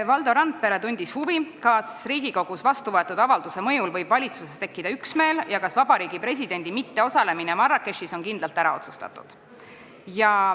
Valdo Randpere tundis huvi, kas Riigikogus vastuvõetud avalduse mõjul võib valitsuses tekkida üksmeel ja kas vabariigi presidendi mitteosalemine Marrakechis on kindlalt ära otsustatud.